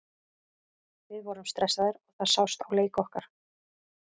Við vorum stressaðir og það sást á leik okkar.